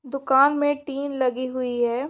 दुकान में टीन लगी हुई है।